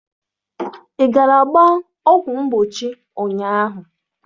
Ị gara gbaa ọgwụ mgbochi ụnyaahụ?